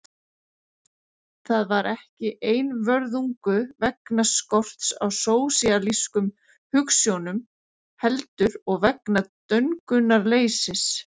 Það var ekki einvörðungu vegna skorts á sósíalískum hugsjónum heldur og vegna döngunarleysis.